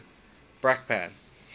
brakpan